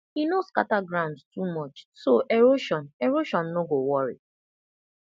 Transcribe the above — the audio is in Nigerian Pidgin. e no scatter ground too much so erosion erosion no go worry